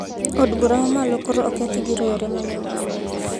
Od bura mamalo koro okethi gi rowere ma nyo ng`anyo